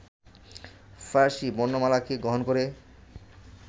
ফার্সী বর্ণমালাকে গ্রহণ করে